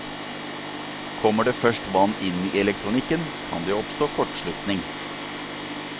Kommer det først vann inn i elektronikken, kan det oppstå kortslutning.